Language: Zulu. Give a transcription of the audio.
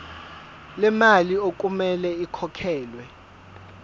lemali okumele ikhokhelwe